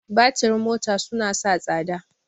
Batirin mota suna sa tsada.